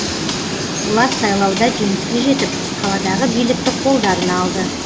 олар сайлауда жеңіске жетіп қаладағы билікті қолдарына алды